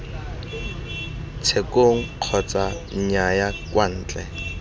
tshekong kgotsa nnyaya kwa ntle